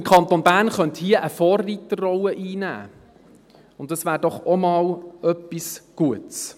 Der Kanton Bern könnte hier eine Vorreiterrolle einnehmen, und das wäre doch auch einmal etwas Gutes.